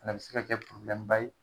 A bɛ se ka kɛ ye